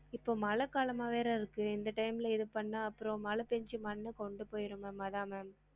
இப்ப மழை காலமா வேற இருக்கு இந்த time ல இது பன்னா அப்பறம் மழை பெஞ்சு மண்ணு கொண்டு போயிரும் ma'am அதான் ma'am